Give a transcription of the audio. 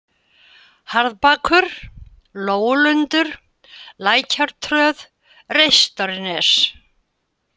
Harðbakur, Lóulundur, Lækjartröð, Reistarnes